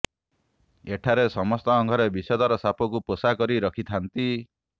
ଏଠାରେ ସମସ୍ତଙ୍କ ଘରେ ବିଷଧର ସାପକୁ ପୋଷା କରି ରଖିଥାନ୍ତି